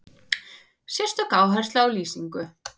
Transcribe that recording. Sérstök áhersla á lýsingu.